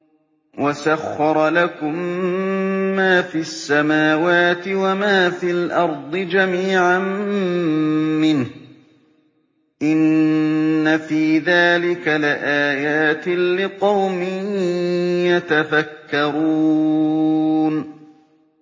وَسَخَّرَ لَكُم مَّا فِي السَّمَاوَاتِ وَمَا فِي الْأَرْضِ جَمِيعًا مِّنْهُ ۚ إِنَّ فِي ذَٰلِكَ لَآيَاتٍ لِّقَوْمٍ يَتَفَكَّرُونَ